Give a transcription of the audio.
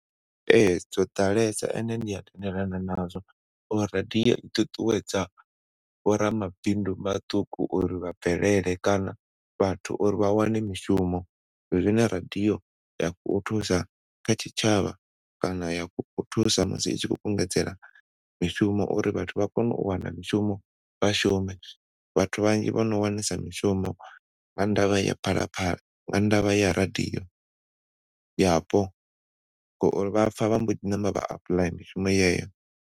Ee, zwoo ḓalesa ende ndi a tendelana nazwo uri radio i ṱuṱuwedza vho ramabindu maṱuku uri vha bvelele kana vhathu uri vha wane mishumo. Zwine radio ya kho thusa kha tshitshavha kana ya kho thusa musi i tshi kho kungedzela mishumo uri vhathu vha kone u wana mishumo vha shume. Vhathu vhanzhi vhono wanesa mishumo nga ndavha ya phalaphala nga ndavha ya radio yapo ngori vhapfa vha mbo ḓi namba vha apply mishumo yeyo.